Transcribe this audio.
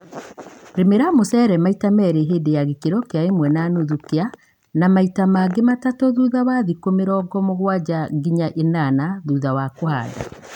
Rĩmĩra mũcere maita merĩ hindĩ ya gĩkĩro kia ĩmwe na nuthu kia …..na maita mangĩ matatũ thutha wa thikũ mirongo mũgwanja nginya ĩnana thutha wa kũhanda.